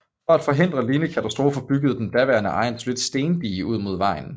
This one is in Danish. For at forhindre lignende katastrofer byggede den daværende ejer et solidt stendige ud mod vejen